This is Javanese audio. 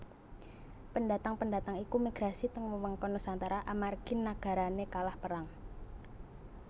Pendatang pendatang iku migrasi teng wewengkon Nusantara amargi nagarane kalah perang